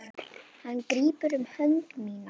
Hann grípur um hönd mína.